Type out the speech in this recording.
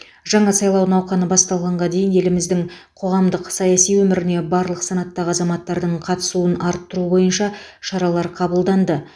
жаңа сайлау науқаны басталғанға дейін еліміздің қоғамдық саяси өміріне барлық санаттағы азаматтардың қатысуын арттыру бойынша шаралар қабылданды